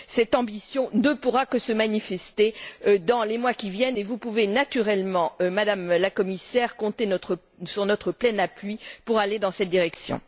Cette ambition ne pourra que se manifester dans les mois qui viennent et vous pouvez naturellement, Madame la Commissaire, compter sur notre plein appui pour aller dans cette direction.